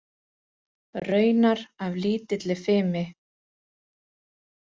Raunar af lítilli fimi.